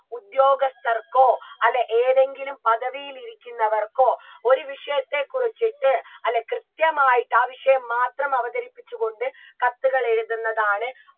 ഉദ്യോഗസ്ഥർക്കോ അല്ല ഏതെങ്കിലും പദവിയിലിരിക്കുന്നവർക്കോ ഒരു വിഷയത്തെ കുറിച്ചിട്ട് അല്ല കൃത്യമായിട്ട് ആ വിഷയം മാത്രം അവതരിപ്പിച്ചു കൊണ്ട് കത്തുകൾ എഴുതുന്നതാണ്